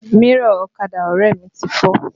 Mírọ̀ ọ̀kadà ọrẹ mi ti fọ́